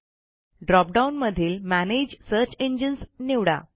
drop down मधील manage search engines निवडा